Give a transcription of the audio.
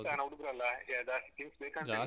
ಅದ್ರಲ್ಲಿಸ ನಾವು ಹುಡುಗ್ರಲ್ಲ ಜಾಸ್ತಿ things ಬೇಕಂತ ಇಲ್ಲ.